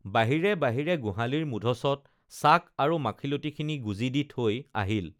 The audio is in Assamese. বাহিৰে বাহিৰে গোঁহালীৰ মুধচত চাক আৰু মাখিলতীখিনি গোজি দি থৈ আহিল